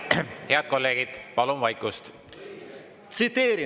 Head kolleegid, palun vaikust!